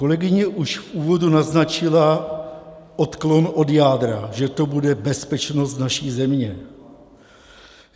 Kolegyně už v úvodu naznačila odklon od jádra, že to bude bezpečnost naší země.